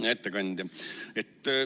Hea ettekandja!